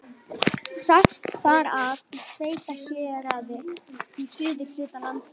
Sest þar að í sveitahéraði í suðurhluta landsins.